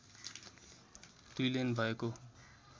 दुई लेन भएको